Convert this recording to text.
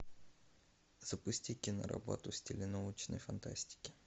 запусти киноработу в стиле научной фантастики